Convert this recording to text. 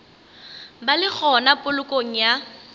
ba le gona polokong ya